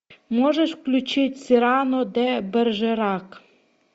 можешь включить сирано де бержерак